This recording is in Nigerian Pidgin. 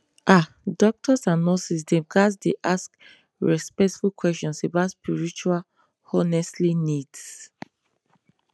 ah doctors and nurses dem ghats dey ask respectful questions about spiritual honestly needs